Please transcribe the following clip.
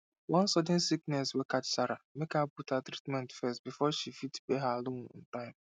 one sudden sickness wey catch sarah make her put her treatment first before she fit pay her loan on time